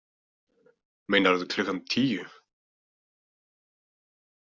Meinarðu klukkan tíu?